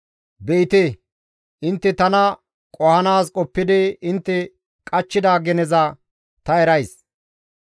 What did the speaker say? «Be7ite! Intte tana qohanaas qoppidi intte qachchida geneza ta erays.